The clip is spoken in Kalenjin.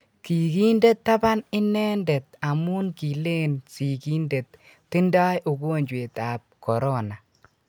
kikinde tban inenendet amun kilen sigik tindai ungojwet ab korona